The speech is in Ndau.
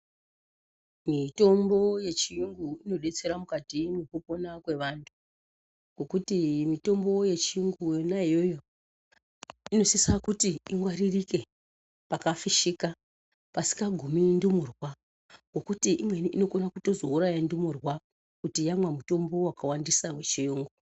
Mitombo yechiyungu inodetsera mukati mwekupona kwevantu ngokuti mitombo yechiyungu yona iyoyo inosisa kuti ingwaririke pakafishika pasingagumi ndumurwa ngokuti imweni inokona kuzotouraya ndumurwa kuti yamwa mushonga wakawandisa muchiyungu.